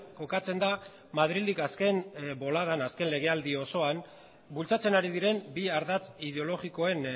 kokatzen da madrildik azken boladan azken legealdi osoan bultzatzen ari diren bi ardatz ideologikoen